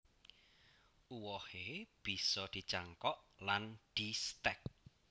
Uwohe bisa dicangkok lan distek